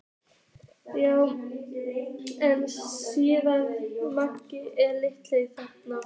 Já en Stína, Mangi er. Lilla þagnaði.